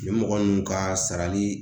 Nin mɔgɔ ninnu ka sarali